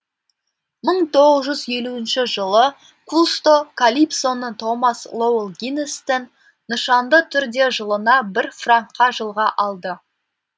мың тоғыз жүз елуінші жылы кусто калипсоны томас лоэл гиннесстен нышанды түрде жылына бір франкқа жылға алды